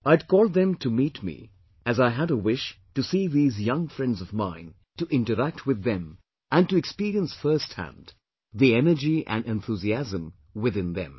I had called them to meet me, as I had a wish to see these young friends of mine, to interact with them and to experience firsthand the energy and enthusiasm within them